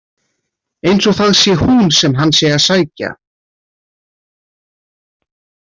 Eins og það sé hún sem hann sé að sækja.